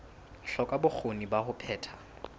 hloka bokgoni ba ho phetha